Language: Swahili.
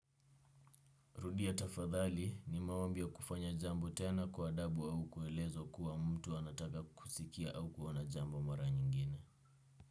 Rudia tafadhali ni maombi kufanya jambo tena kwa adabu au kuelezo kuwa mtu anataka kusikia au kuona jamb mara nyingine.